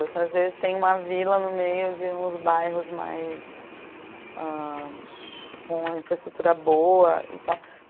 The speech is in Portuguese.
Às vezes tem uma vila no meio de uns bairros mais ah... com uma infraestrutura boa e tal.